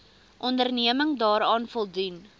onderneming daaraan voldoen